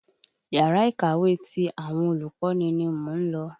Yàrá-ìkàwé ti àwọn olùkọ́ni ni mò ń lọ.